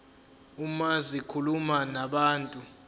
uma zikhuluma nabantu